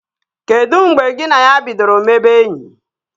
Kedu mgbe gị na ya bidoro mebe enyi?